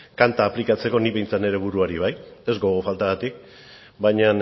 kanta aplikatzeko nik behintzat nire buruari bai ez gogo faltagatik baina